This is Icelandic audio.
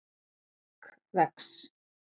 skegg vex